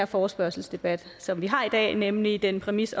forespørgselsdebat som vi har i dag nemlig den præmis